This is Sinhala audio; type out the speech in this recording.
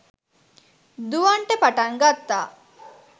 දුවන්ට පටන් ගත්තා